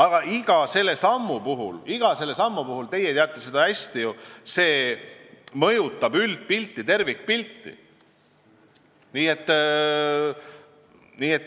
Aga iga samm, te teate seda ju hästi, mõjutab tervikpilti.